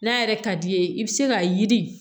N'a yɛrɛ ka d'i ye i bi se ka yiri